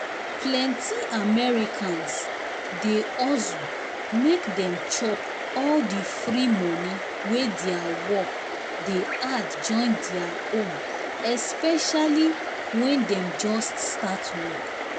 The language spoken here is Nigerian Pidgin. plenty americans dey hustle make dem chop all the free money wey their work dey add join their own especially when dem just start work.